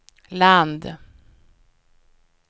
land